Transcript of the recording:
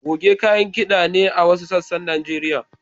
Goge kayan kida ne a wasu sassan Najeriya.